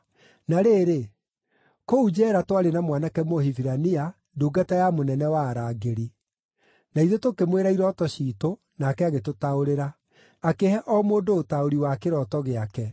Na rĩrĩ, kũu njeera twarĩ na mwanake Mũhibirania, ndungata ya mũnene wa arangĩri. Na ithuĩ tũkĩmwĩra irooto ciitũ, nake agĩtũtaũrĩra; akĩhe o mũndũ ũtaũri wa kĩroto gĩake.